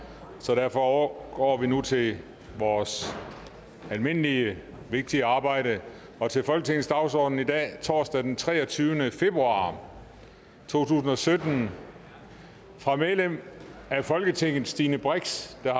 så derfor overgår vi nu til vores almindelige vigtige arbejde og til folketingets dagsorden i dag torsdag den treogtyvende februar to tusind og sytten fra medlem af folketinget stine brix der